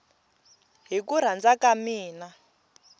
hi ku rhandza ka mina